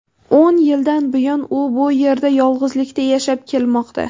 O‘n yildan buyon u bu yerda yolg‘izlikda yashab kelmoqda.